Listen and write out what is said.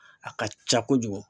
A ka ca kojugu